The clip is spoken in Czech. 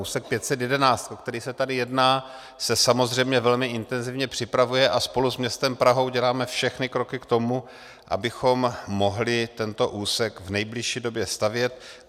Úsek 511, o který se tady jedná, se samozřejmě velmi intenzivně připravuje a spolu s městem Prahou děláme všechny kroky k tomu, abychom mohli tento úsek v nejbližší době stavět.